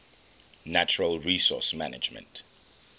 natural resource management